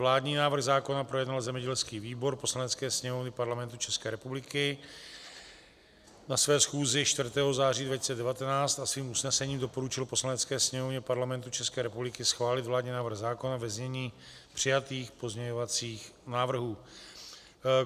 Vládní návrh zákona projednal zemědělský výbor Poslanecké sněmovny Parlamentu České republiky na své schůzi 4. září 2019 a svým usnesením doporučil Poslanecké sněmovně Parlamentu České republiky schválit vládní návrh zákona ve znění přijatých pozměňovacích návrhů.